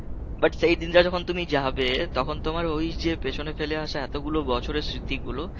but সেই দিনটা যখন তুমি যাবে তখন তোমার ওই যে পেছনে ফেলে আসা এতগুলো বছরের স্মৃতিগুলো